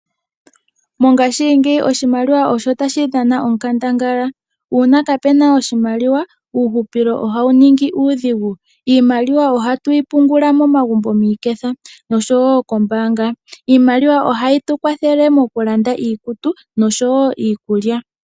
Mongashingeyi oshimaliwa osho tashi dhana onkandangala uuna kapena oshimaliwa uuhupilo ohawu ningi uudhigu ,iimaliwa ohatu yi pungula momagumbo miiketha oshowo kombaanga iimalwa ohatu yi kwathele tu lande iikulya niikutu.